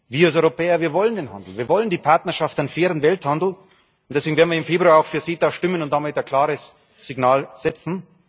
Wir als Europäer wollen den Handel, wir wollen die Partnerschaft im fairen Welthandel, und deswegen werden wir im Februar auch für CETA stimmen und damit ein klares Signal setzen.